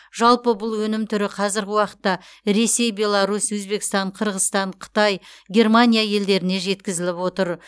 жалпы бұл өнім түрі қазіргі уақытта ресей беларусь өзбекстан қырғызстан қытай германия елдеріне жеткізіліп отыр